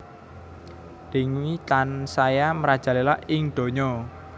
Dengue tansaya merajalela ing donya